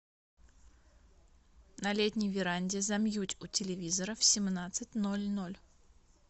на летней веранде замьють у телевизора в семнадцать ноль ноль